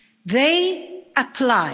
They apply.